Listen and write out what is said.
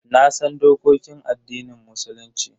Nasan dokokin addinin Musulunci.